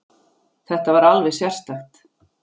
Þetta var alveg sérstakt.